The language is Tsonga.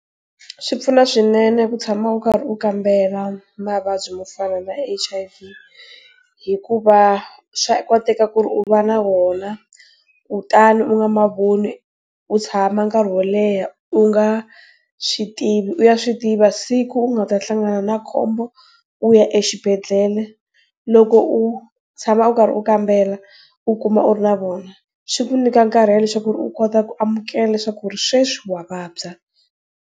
Swi pfuna swinene ku tshama u karhi u kambela mavabyi yo fana na H_I_V. Hikuva, swa koteka ku ri u va na wona, kutani u nga ma voni, u tshama nkarhi wo leha u nga, swi tivi u ya swi tiva siku u nga ta hlangana na khombo, u ya exibedlele. Loko u, tshama u karhi u kambela, u kuma u ri na wona, swi ku nyika nkarhi wa leswaku u kota ku amukela leswaku ku ri sweswi wa vabya.